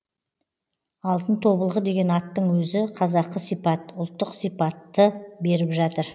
алтын тобылғы деген аттың өзі қазақы сипат ұлттық сипатты беріп жатыр